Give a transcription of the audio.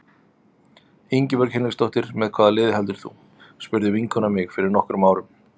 Ingibjörg Hinriksdóttir Með hvaða liði heldur þú? spurði vinkona mín mig fyrir nokkrum árum.